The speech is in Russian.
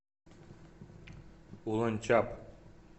уланчаб